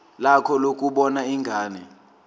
lakho lokubona ingane